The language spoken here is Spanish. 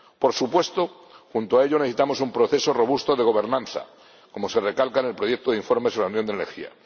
Por supuesto, junto a ello necesitamos un proceso robusto de gobernanza, como se recalca en el proyecto de informe sobre la Unión de la Energía.